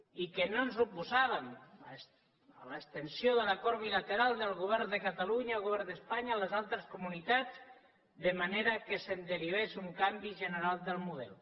i que no ens oposàvem a l’extensió de l’acord bilateral del govern de catalunya i el govern d’espanya a les altres comunitats de manera que se’n derivés un canvi general del model